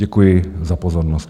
Děkuji za pozornost.